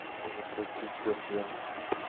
заплатить за связь